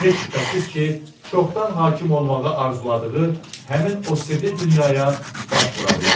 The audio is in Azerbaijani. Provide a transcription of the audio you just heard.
heç şübhəsiz ki, çoxdan hakim olmağı arzuladığı həmin o sirli dünyaya baş vura bilərdi.